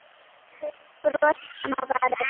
Svo færðist bros fram á varirnar.